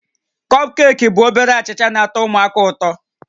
Kọpkeeki bụ obere achịcha na-atọ ụmụaka ụtọ